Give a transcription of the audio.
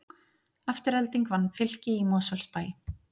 Afturelding vann Fylki í Mosfellsbæ